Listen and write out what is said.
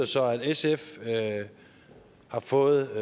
så at sf har fået